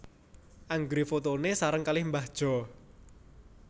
Anggere fotone sareng kalih mbah Jo